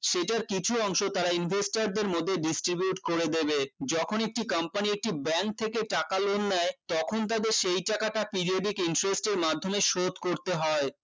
সেইটার কিছু অংশ তারা investor দের মধ্যে distribute করে দেবে যখন একটি company একটি bank থেকে টাকা loan নেয় তখন তাদের সেই টাকাটা periodic interest এর মাধ্যমে সুদ করতে হয়